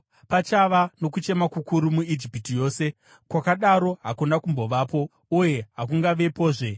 Pachava nokuchema kukuru muIjipiti yose, kwakadaro hakuna kumbovapo uye hakungavepozve.